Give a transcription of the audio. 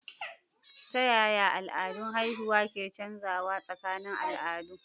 Ta yaya al'adun haihuwa ke canzawa tsakanin al'adu?